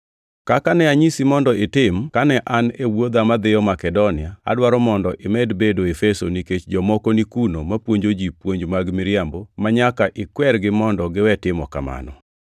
Kaka ne anyisi mondo itim kane an e wuodha madhiyo Makedonia, adwaro mondo imed bedo Efeso nikech jomoko ni kuno mapuonjo ji puonj mag miriambo manyaka ikwergi mondo giwe timo kamano.